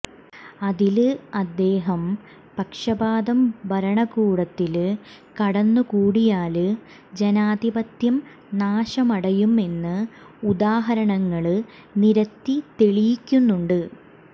അതില് അദ്ദേഹം പക്ഷപാതം ഭരണകൂടത്തില് കടന്നുകൂടിയാല് ജനാധിപത്യം നാശമടയും എന്ന് ഉദാഹരണങ്ങള് നിരത്തി തെളിയിക്കുന്നുണ്ട്